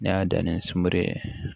N'i y'a dan ni sunkuru ye